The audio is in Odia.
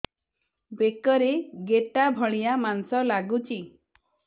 ବେକରେ ଗେଟା ଭଳିଆ ମାଂସ ଲାଗୁଚି